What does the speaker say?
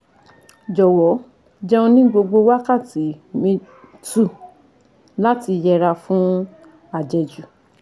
Jọ̀wọ́ jẹun ní gbogbo wákàtí uhm two láti yẹra fún àjẹjù